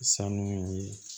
Sanu ye